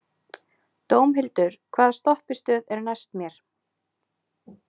Dómhildur, hvaða stoppistöð er næst mér?